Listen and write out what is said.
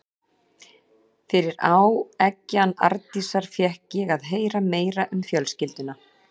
Fyrir áeggjan Arndísar fékk ég að heyra meira um fjölskylduna.